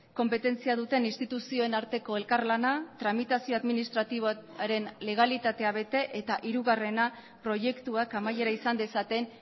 konpetentzia duten instituzioen arteko elkarlana tramitazio administratiboaren legalitatea bete eta hirugarrena proiektuak amaiera izan dezaten